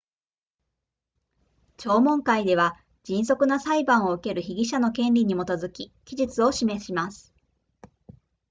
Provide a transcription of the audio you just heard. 聴聞会では迅速な裁判を受ける被疑者の権利に基づき期日を示します